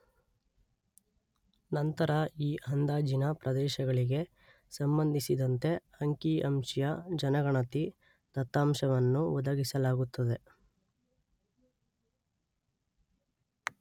ನಂತರ ಈ ಅಂದಾಜಿನ ಪ್ರದೇಶಗಳಿಗೆ ಸಂಬಂಧಿಸಿದಂತೆ ಅಂಕಿ, ಅಂಶೀಯ ಜನಗಣತಿ ದತ್ತಾಂಶವನ್ನು ಒದಗಿಸಲಾಗುತ್ತದೆ.